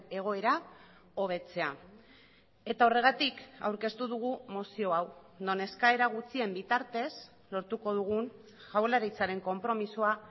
egoera hobetzea eta horregatik aurkeztu dugu mozio hau non eskaera gutxien bitartez lortuko dugun jaurlaritzaren konpromisoa